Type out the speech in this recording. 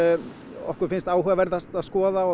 okkur finnst áhugaverðast að skoða og